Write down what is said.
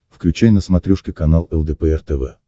включай на смотрешке канал лдпр тв